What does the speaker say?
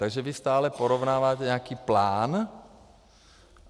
Takže vy stále porovnáváte nějaký plán.